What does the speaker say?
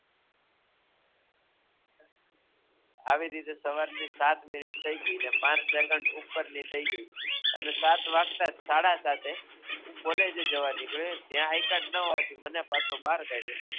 આવી રીતે સવારની સાત મિનિટ થઈ ગય અને પાંચ સેકંડ ઉપરની થઈ ગય અને સાત વાગ્તા સાળાસાતે હું કોલેજે જવા નીકળ્યો ત્યાં આઈકાર્ડ ન હોવાથી મને પાછો બહાર કાઢ્યો